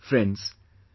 Friends,